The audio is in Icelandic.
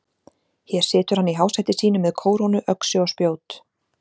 Hér situr hann í hásæti sínu með kórónu, öxi og spjót.